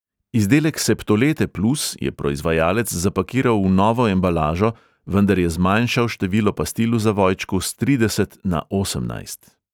Izdelek septolete plus je proizvajalec zapakiral v novo embalažo, vendar je zmanjšal število pastil v zavojčku s trideset na osemnajst.